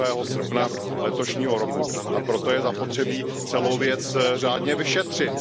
2. srpna letošního roku, a proto je zapotřebí celou věc řádně vyšetřit.